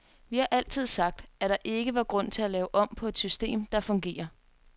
Vi har altid sagt, at der ikke var grund til at lave om på et system, der fungerer.